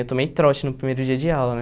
Eu tomei trote no primeiro dia de aula, né?